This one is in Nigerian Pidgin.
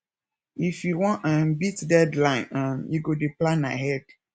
if you wan um beat deadline um you go dey plan ahead